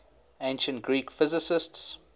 ancient greek physicists